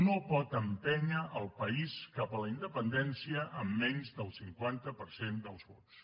no pot empènyer el país cap a la independència amb menys del cinquanta per cent dels vots